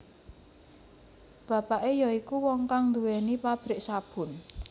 Bapake ya iku wong kang duwéni pabrik sabun